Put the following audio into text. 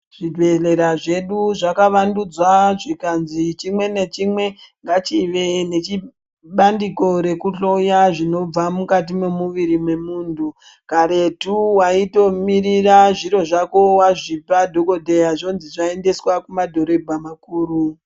Zvibhedhlera zvedu zvakavandudzwa zvikanzi chimwe nechimwe ngachive nechibandiko rekuhloya zvinobva mukati mwemuviri mwemunthu. Karetu waitomirira zviro zvako wazvipa dhokodheya zvonzi zvaendeswa kumadhorebha makuru.